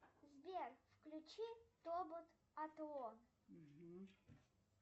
сбер включи тобот атлон